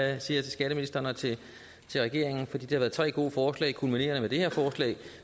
jeg til skatteministeren og til regeringen for det har været tre gode forslag kulminerende med det her forslag